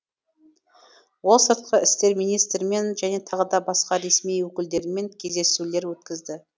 ол сыртқы істер министрімен және тағы да басқа ресми өкілдермен кездесулер өткізді